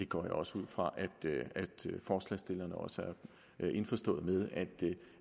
går også ud fra at forslagsstillerne er indforstået med